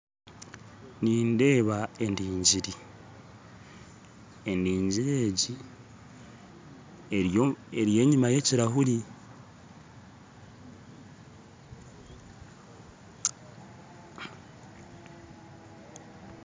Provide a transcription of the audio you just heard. Nindeeba endingiri endingiri egi eri enyuma yekirahuri